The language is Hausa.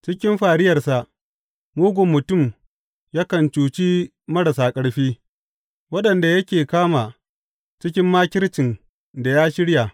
Cikin fariyarsa mugun mutum yakan cuci marasa ƙarfi, waɗanda yake kama cikin makircin da ya shirya.